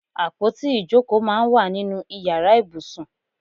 Àpótí ìjókòó máa ń wà nínú ìyára ibùsùn.